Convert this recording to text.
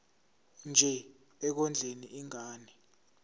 nje ekondleni ingane